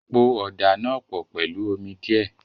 Po ọ̀dà náà pọ̀ pẹ̀lú omi díẹ̀.